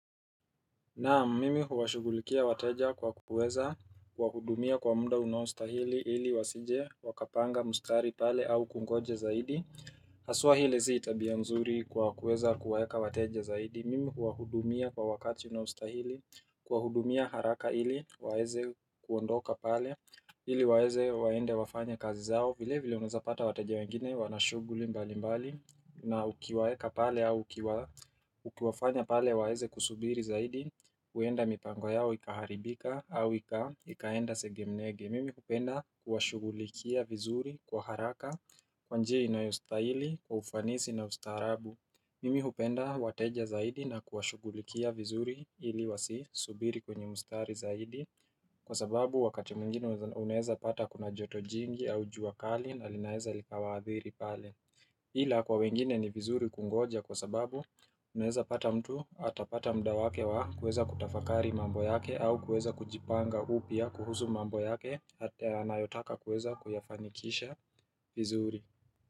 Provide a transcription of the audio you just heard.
Naam mimi huwashugulikia wateja kwa kuweza kuwa hudumia kwa muda unaostahili ili wasije wakapanga mstari pale au kungoja zaidi Haswa ile si tabia mzuri kwa kuweza kuwaeka wateja zaidi mimi huwa hudumia kwa wakati unaostahili kuwa hudumia haraka ili waweze kuondoka pale ili waweze waende wafanya kazi zao vile vile unazapata wateja wengine wanashuguli mbali mbali na ukiwaeka pale au ukiwafanya pale waweze kusubiri zaidi huenda mipango yao ikaharibika au ikaenda sege mnege Mimi hupenda kuwashugulikia vizuri kwa haraka Kwa njia inayostahili kwa ufanisi na ustaarabu Mimi hupenda wateja zaidi na kuwashugulikia vizuri ili wasisubiri kwenye mustari zaidi Kwa sababu wakati mwingini unweza pata kuna joto jingi au juakali na linaeza likawaadhiri pale ila kwa wengine ni vizuri kungoja kwa sababu unaweza pata mtu atapata mda wake wa kueza kutafakari mambo yake au kuweza kujipanga upya kuhusu mambo yake ata anayotaka kuweza kuyafanikisha vizuri.